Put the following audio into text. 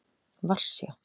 Varsjá